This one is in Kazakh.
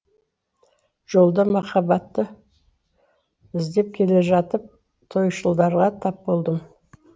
жолда махаббатты іздеп келе жатып тойшылдарға тап болдым